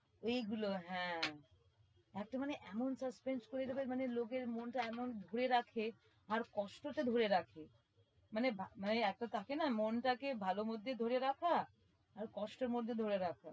এই গুলো হ্যাঁ এত মানে এত suspense করে দেবে মানে লোকের মনটা এমন ধরে রাখে আর কষ্টটা ধরে রাখে মানে ভ~ মানে এতো থাকে না মনটা কে ভালো mood দিয়ে ধরে রাখা আর কষ্ট mood দিয়ে ধরে রাখা